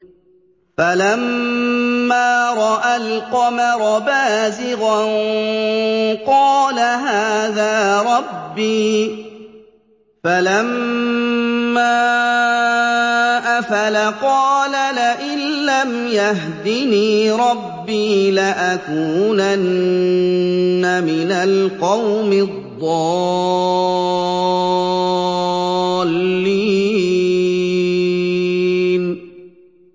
فَلَمَّا رَأَى الْقَمَرَ بَازِغًا قَالَ هَٰذَا رَبِّي ۖ فَلَمَّا أَفَلَ قَالَ لَئِن لَّمْ يَهْدِنِي رَبِّي لَأَكُونَنَّ مِنَ الْقَوْمِ الضَّالِّينَ